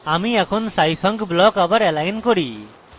আমি এখন scifunc block আবার এলাইন করি